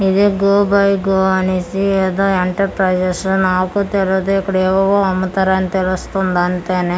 ఇది go by go అనేసి ఏదో ఎంటర్ ప్రైసెస్ నాకు తెరుదు ఇక్కడేవేవో అమ్ముతారని తెలుస్తుంది అంతేనె.